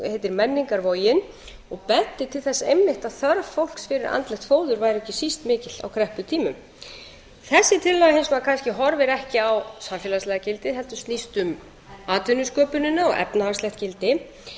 heitir menningarvogin og benti til þess einmitt að þörf fólks fyrir andlegt fóður væri ekki síst mikil á krepputímum þessi tillaga hins vegar kannski horfir ekki á samfélagslega gildið heldur snýst um atvinnusköpunina og efnahagslegt gildi eins